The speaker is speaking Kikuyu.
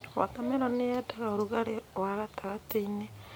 Wota meroni yendaga rugarĩ wa gatagatĩinĩ.